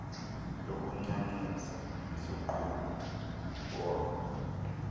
lokuncancisa isogqumi ngono